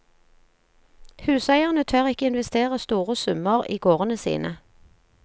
Huseierne tør ikke investere store summer i gårdene sine.